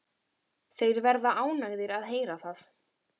Þeir verða ánægðir að heyra það.